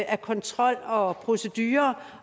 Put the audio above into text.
af kontrol og procedurer